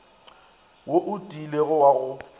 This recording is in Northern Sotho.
wo o tiilego wa go